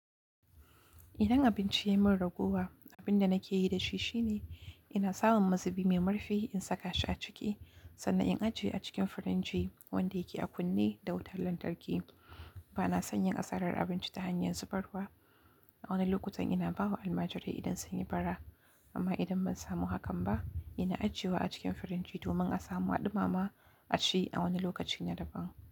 Idan abinci ya min raguwa, abin da nake yi da shi shine ina samun mazubi mai murfi in saka shi a ciki sannan in ajiye a cikin firinji wanda yake a kunne da wutar lantarki. Ba na son yin asarar abinci ta hanyar zubarwa. A wani lokutan ina ba wa almajirai idan sun yi bara, amma idan ban samu hakan ba, ina ajiyewa a cikin firinji domin a samu haɗuma ma a ci a wani lokaci na daban.